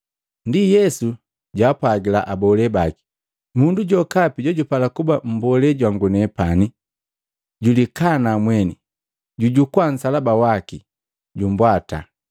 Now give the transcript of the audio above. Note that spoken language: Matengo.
Ndi Yesu jwaapwagila abole baki, “Mundu jokapi jojupala kuba mbolee jwangu nepani, julikana mweni, jujukua nsalaba waki, jumbwata.